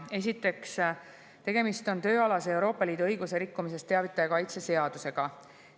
Esiteks, tegemist on tööalasest Euroopa Liidu õiguse rikkumisest teavitaja kaitse seadusega.